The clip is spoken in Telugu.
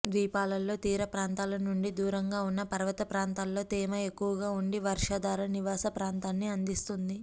ద్వీపాలలో తీరప్రాంతాల నుండి దూరంగా ఉన్న పర్వతప్రాంతాలలో తేమ ఎక్కువగా ఉండి వర్షాధార నివాస ప్రాంతాన్ని అందిస్తుంది